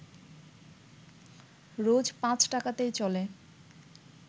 রোজ পাঁচ টাকাতেই চলে